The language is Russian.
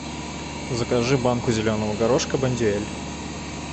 закажи банку зеленого горошка бондюэль